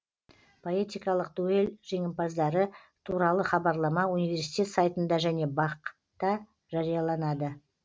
поэтикалық дуэль жеңімпаздары туралы хабарлама университет сайтында және бақ та жарияланады